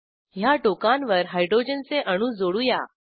ह्या टोकांवर हायड्रोजनचे अणू जोडू या